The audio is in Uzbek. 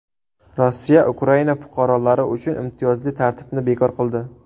Rossiya Ukraina fuqarolari uchun imtiyozli tartibni bekor qildi.